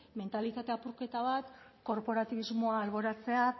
mentalitate apurketa bat korporatibismoa alboratzea